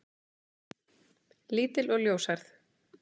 Lítil og ljóshærð.